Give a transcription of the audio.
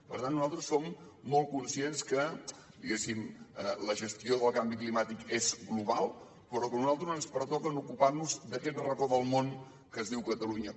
per tant nosaltres som molt conscients que diguéssim la gestió del canvi climàtic és global però que a nosaltres ens pertoca ocupar nos d’aquest racó del món que es diu catalunya